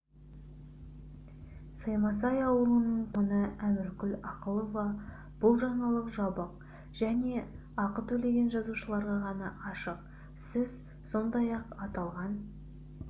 саймасай ауылының тұрғыны әміркүл ақылова бұл жаңалық жабық және ақы төлеген жазылушыларға ғана ашық сіз сондай-ақ аталған